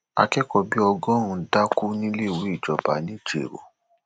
akẹkọọ bíi ọgọrùnún dákú níléèwé ìjọba ńijẹrọ um